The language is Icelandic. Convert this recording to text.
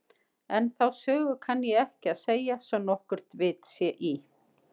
En þá sögu kann ég ekki að segja svo nokkurt vit sé í.